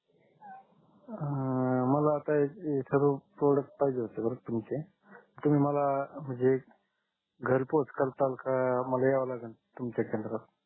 आह मला आता सर्व प्रोडक्ट्स पाहिजे होते बर तुमचे तुम्ही मला म्हणजे घर पोच करसालका मला याव लागल तुमच्या केंद्रात